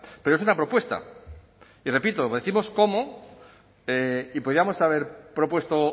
pero es una propuesta y repito décimos cómo y podíamos haber propuesto